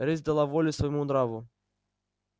рысь дала волю своему нраву